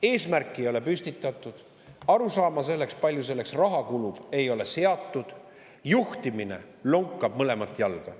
Eesmärki ei ole püstitatud, arusaama, kui palju selleks raha kulub, ei ole, juhtimine lonkab mõlemat jalga.